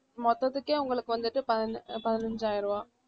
மொத்ததுக்கே உங்களுக்கு வந்துட்டு பதினை~ பதினைஞ்சாயிரம் ரூபாய்